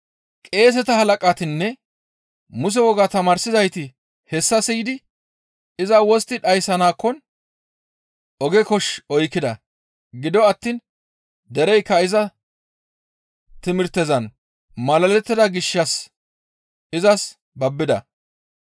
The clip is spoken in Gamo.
Qeeseta halaqatinne Muse wogaa tamaarsizayti hessa siyidi iza wostti dhayssanakkon oge kosh oykkida. Gido attiin dereykka iza timirtezan malalettida gishshas izas babbida.